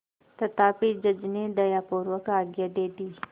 तथापि जज ने दयापूर्वक आज्ञा दे दी